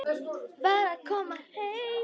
Var að koma heim.